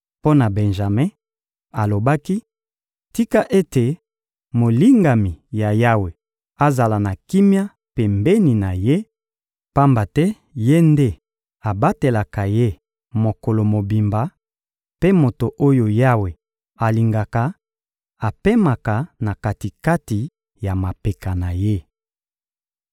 Mpo na Benjame, alobaki: «Tika ete molingami ya Yawe azala na kimia pembeni na Ye, pamba te Ye nde abatelaka ye mokolo mobimba; mpe moto oyo Yawe alingaka apemaka na kati-kati ya mapeka na Ye!»